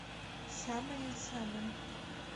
самая самая